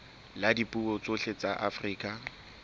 la dipuo tsohle tsa afrika